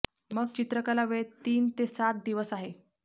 मग चित्रकला वेळ तीन ते सात दिवस आहे